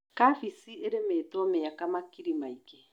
Kabeci ĩrĩmitwo mĩaka makiri maingĩ.